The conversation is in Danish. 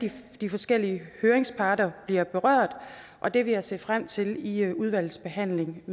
de forskellige høringsparter bliver berørt og det vil jeg se frem til i udvalgsbehandlingen af